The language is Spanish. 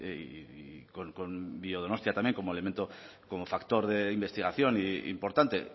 y con biodonostia también como elemento como factor de investigación importante